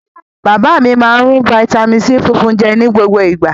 Bàbá mi máa ń rún fataímìn C funfun jẹ ní gbogbo ìgbà.